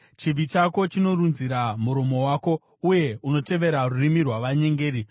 Chivi chako chinorunzira muromo wako; uye unotevera rurimi rwavanyengeri.